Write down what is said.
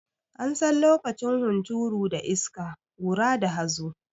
An san lokacin hunturu da iska, ƙura da hazo.